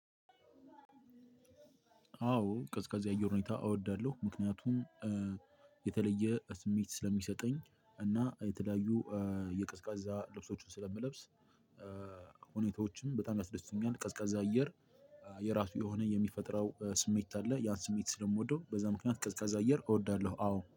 አዎ ቀዝቃዛ የ አየር ሁኔታ እወዳለሁ ምክንያቱም እ የተለየ ስሜት ስለሚሰጠኝ እና የተለያዩ የቀዝቃዛ ልብሶችን ስለምለብስ እ ሁኔታዎችም በጣም ያስደስቱኛል። ቀዝቃዛ አየር የራሱ የሆነ የሚፈጥረው ስሜት አለ። ያን ስሜት ስለምወደው በዛ ምክንያት ቀዝቃዛ አየር እወዳለሁ። አዎ